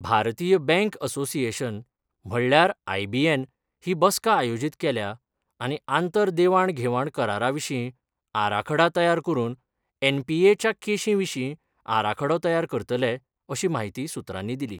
भारतीय bank association म्हणल्यार IBN ही बसका आयोजीत केल्या आनी आंतर देवाण घेवाण करारा विशीं आराखडा तयार करून एनपीए च्या केशी विशीं आराखडो तयार करतले अशी माहिती सुत्रांनी दिली.